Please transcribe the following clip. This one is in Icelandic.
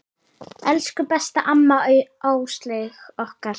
Elsku besta amma Áslaug okkar.